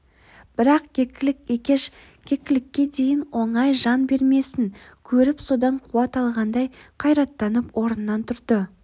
бірақ кекілік екеш кекілікке дейін оңай жан бермесін көріп содан қуат алғандай қайраттанып орнынан тұрды